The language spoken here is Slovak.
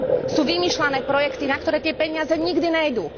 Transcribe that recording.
Sú vymýšľané projekty, na ktoré tie peniaze nikdy nejdú.